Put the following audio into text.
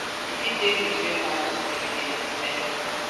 e fit take between one to three days depending